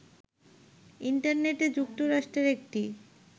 ইন্টারনেটে যুক্তরাষ্ট্রের একটি